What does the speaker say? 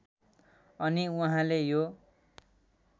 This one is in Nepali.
अनि उहाँले यो